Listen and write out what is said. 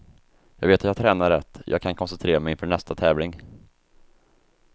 Jag vet att jag tränar rätt, jag kan koncentrera mig inför nästa tävling.